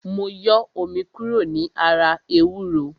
Mo yọ omi kúrò ní ara ewúro